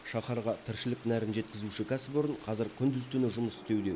шаһарға тіршілік нәрін жеткізуші кәсіпорын қазір күндіз түні жұмыс істеуде